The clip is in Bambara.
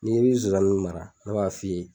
Ni ko i bi Zonzanniw mara ne b'a f'i ye